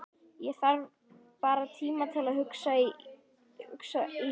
Ég þarf bara tíma til að hugsa Ísbjörg.